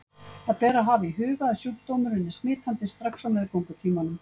Það ber að hafa í huga að sjúkdómurinn er smitandi strax á meðgöngutímanum.